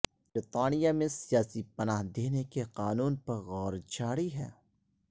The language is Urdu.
برطانیہ میں سیاسی پناہ دینے کے قانون پر غور جاری ہے